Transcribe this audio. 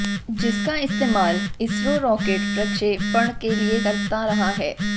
जिसका इस्तेमाल इसरो रॉकेट प्रक्षेपण के लिए करता रहा है